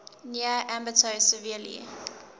near ambato severely